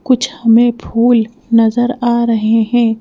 कुछ हमें फूल नजर आ रहे हैं।